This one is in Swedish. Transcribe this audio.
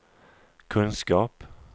kunskap